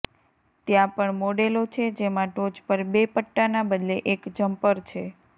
ત્યાં પણ મોડેલો છે જેમાં ટોચ પર બે પટ્ટાના બદલે એક જમ્પર છે